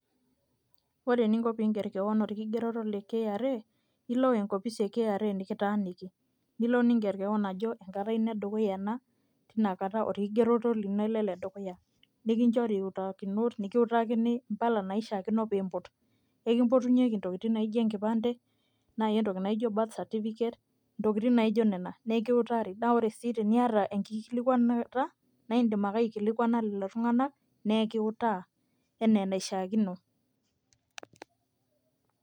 ore eninko pee iiger keon orkigeroto le kra, ilo enkopisi e kra nikitaaniki. nilo niger keon ajo enkata ino edukuya ena inakata orkigeroto lino le dukuya, nikinchori iutakinot imbaa naishaakino pee iimput. ekimpotunyeki intokitin naijo enkipande. naaji entoki naijo birth certificate intokitin naijo nena, naa ekiutari. naa ore sii teniata enkilikuanata naa idim ake aikilikuana lelo tunganak, naa ekituaa anaa enaishiakino.